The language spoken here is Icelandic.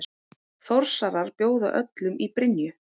Þórsarar bjóða öllum í Brynju!